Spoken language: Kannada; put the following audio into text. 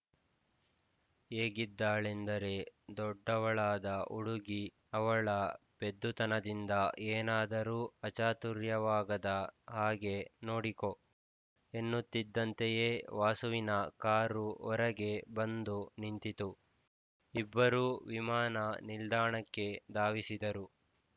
ಹೇಗಿದ್ದಾಳೆಂದರೆ ದೊಡ್ಡವಳಾದ ಹುಡುಗಿ ಅವಳ ಪೆದ್ದುತನದಿಂದ ಏನಾದರೂ ಅಚಾತುರ್ಯವಾಗದ ಹಾಗೆ ನೋಡಿಕೊ ಎನ್ನುತ್ತಿದ್ದಂತೆಯೇ ವಾಸುವಿನ ಕಾರು ಹೊರಗೆ ಬಂದು ನಿಂತಿತು ಇಬ್ಬರೂ ವಿಮಾನ ನಿಲ್ದಾಣಕ್ಕೆ ಧಾವಿಸಿದರು